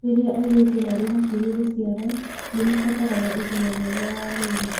Rĩrĩa airĩtu marĩ hakuhĩ gũciara, nĩ mabataraga ũgima mwega wa mwĩrĩ.